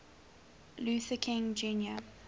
luther king jr